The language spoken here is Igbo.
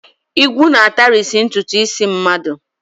Ìgwu na-atarisi ntụtụ isi mmadụ.